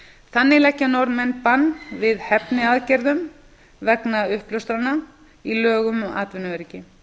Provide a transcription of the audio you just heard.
þannig leggja norðmenn bann við hefniaðgerðum vegna uppljóstrunar í lögum um atvinnuöryggi